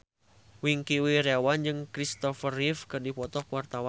Wingky Wiryawan jeung Christopher Reeve keur dipoto ku wartawan